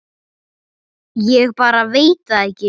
Ég bara veit það ekki.